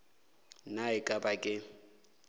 na e ka ba ke